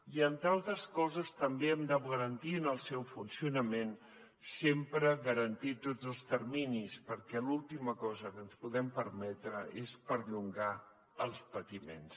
i entre altres coses també hem de garantir en el seu funcionament sempre tots els terminis perquè l’última cosa que ens podem permetre és perllongar els patiments